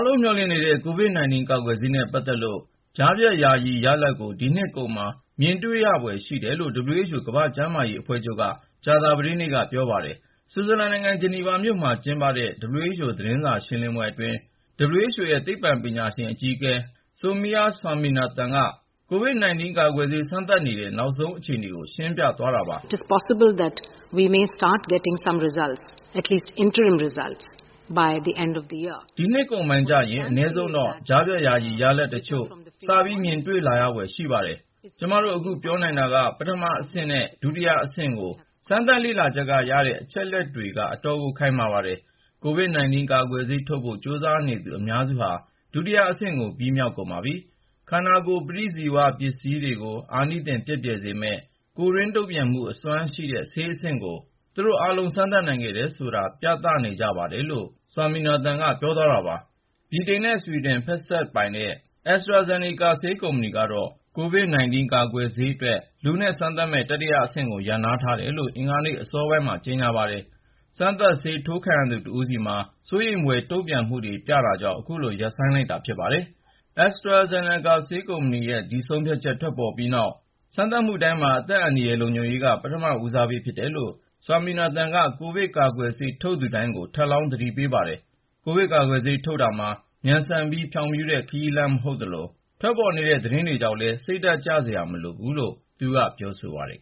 လုံး မျှော်လင့်နေတဲ့ COVID-19 ကာကွယ်ဆေးနဲ့ ပတ်သက်လို့ ကြားဖြတ်ယာယီ ရလဒ်ကို ဒီနှစ်ကုန်မှာ မြင်တွေ့ရဖွယ် ရှိတယ်လို့ WHO ကမ္ဘာ့ကျန်းမာရေးအဖွဲ့ချုပ်က ကြာသပတေးနေ့က ပြောပါတယ်။ ဆွစ်ဇာလန်နိုင်ငံ ဂျနီဗာမြို့မှာ ကျင်းပတဲ့ WHO သတင်းစာရှင်းလင်းပွဲအတွင်း WHO ရဲ့သိပ္ပံပညာရှင်အကြီးအကဲ Soumya Swaminathan က COVID-19 ကာကွယ်ဆေး စမ်းသပ်နေကြတဲ့ နောက်ဆုံး အခြေအနေကိုရှင်းပြသွားတာပါ။ "ဒီနှစ်ကုန်ပိုင်းကျရင် အနည်းဆုံးတော့ ကြားဖြတ်ယာယီ ရလဒ်တချို့စပြီး မြင်တွေ့လာရဖွယ်ရှိပါတယ်။ ကျမတို့ အခု ပြောနိုင်တာက ပထမအဆင့်နဲ့ ဒုတိယအဆင့်ကို စမ်းသပ် လေ့လာချက်က ရတဲ့ အချက်အလက်တွေက အတော်ကို ခိုင်မာပါတယ်။ COVID-19 ကာကွယ်ဆေး ထုတ်ဖို့ ကြိုးစားနေသူ အများစုဟာ ဒုတိယအဆင့်ကို ပြီးမြောက်ကုန်ပါပြီ။ ခန္ဓာကိုယ် ပဋိဇီဝပစ္စည်းတွေကို အာနိသင် ပျက်ပြယ်စေမယ့် ကိုယ်တွင်း တုံ့ပြန်မှုအစွမ်းရှိတဲ့ ဆေးအဆင့်ကို သူတို့အားလုံး စမ်းသပ်နိုင်ခဲ့တယ်ဆိုတာ ပြသနေကြပါတယ်။" လို့ Swaminathan က ပြောသွားတာပါ။ ဗြိတိန်နဲ့ ဆွီဒင်ဖက်စပ်ပိုင် AstraZeneca ဆေးကုမ္ပဏီကတော့ COVID-19 ကာကွယ်ဆေးအတွက် လူနဲ့ စမ်းသပ်မယ့် တတိယအဆင့်ကို ရပ်နားထားတယ်လို့ အင်္ဂါနေ့ အစောပိုင်းမှာ ကြေညာပါတယ်။ စမ်းသပ်ဆေး ထိုးခံရသူတဦးဆီမှာ စိုးရိမ်ဖွယ် တုံ့ပြန်မှုတွေ ပြတာကြောင့် ခုလို ရပ်ဆိုင်းလိုက်တာ ဖြစ်ပါတယ်ဒ။ AstraZeneca ဆေးကုမ္ပဏီရဲ့ ဒီဆုံးဖြတ်ချက် ထွက်ပေါ်ပြီးနောက် စမ်းသပ်မှုတိုင်းမှာ အသက်အန္တရာယ် လုံခြုံရေးက ပထမဦးစားပေး ဖြစ်တယ်လို့ WHO ရဲ့သိပ္ပံပညာရှင် Swaminathan က ကိုဗစ်ကာကွယ်ဆေး ထုတ်သူတိုင်းကို ထပ်လောင်း သတိပေးပါတယ်။ ကိုဗစ်ကာကွယ်ဆေး ထုတ်တာဟာ မြန်ဆန်ပြီး ဖြောင့်ဖြူးတဲ့ ခရီးလမ်း မဟုတ်သလို ထွက်ပေါ်နေတဲ့ သတင်းတွေ ကြောင့်လည်း စိတ်ဓါတ်ကျစရာ မလိုဘူးလို့ ပြောဆိုပါတယ်